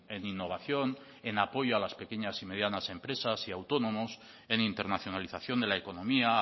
en innovación en apoyo a las pequeñas y medianas empresas y autónomos en internacionalización de la economía